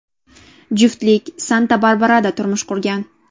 Juftlik Santa-Barbarada turmush qurgan.